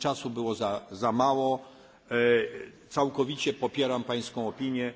Czasu było za mało. Całkowicie popieram pańską opinię.